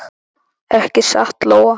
Ekki satt, Lóa?